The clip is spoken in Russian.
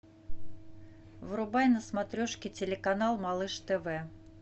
врубай на смотрешке телеканал малыш тв